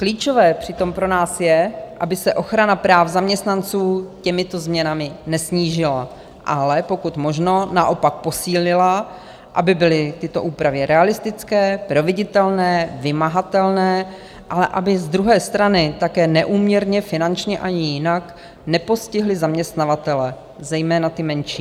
Klíčové přitom pro nás je, aby se ochrana práv zaměstnanců těmito změnami nesnížila, ale pokud možno naopak posílila, aby byly tyto úpravy realistické, proveditelné, vymahatelné, ale aby z druhé strany také neúměrně finančně ani jinak nepostihly zaměstnavatele, zejména ty menší.